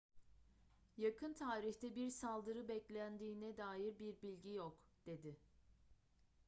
yakın tarihte bir saldırı beklendiğine dair bir bilgi yok dedi